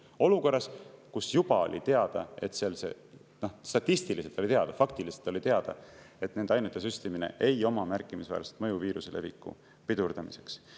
Olukorras, kus juba oli teada – statistiliselt oli teada, faktiliselt oli teada –, et nende ainete süstimine ei oma märkimisväärset mõju viiruse leviku pidurdamiseks.